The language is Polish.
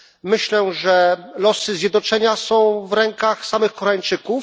Myślę, że losy zjednoczenia są w rękach samych Koreańczyków.